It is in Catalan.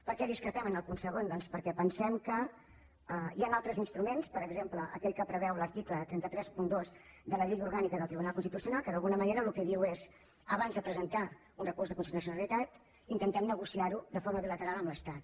per què discrepem en el punt segon doncs perquè pensem que hi han altres instruments per exemple aquell que preveu l’article tres cents i trenta dos de la llei orgànica del tribunal constitucional que d’alguna manera el que diu és abans de presentar un recurs de constitucionalitat intentem negociar ho de forma bilateral amb l’estat